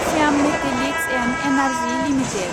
Shyam metallics and energy limited